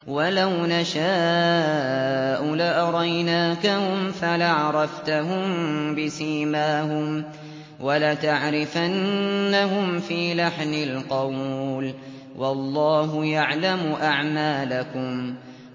وَلَوْ نَشَاءُ لَأَرَيْنَاكَهُمْ فَلَعَرَفْتَهُم بِسِيمَاهُمْ ۚ وَلَتَعْرِفَنَّهُمْ فِي لَحْنِ الْقَوْلِ ۚ وَاللَّهُ يَعْلَمُ أَعْمَالَكُمْ